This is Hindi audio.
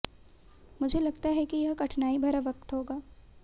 मुझे लगता है कि यह कठिनाई भरा वक्त होगा